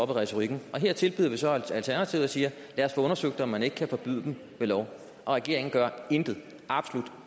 for retorikken her tilbyder vi så et alternativ og siger lad os få undersøgt om man ikke kan forbyde dem ved lov og regeringen gør intet absolut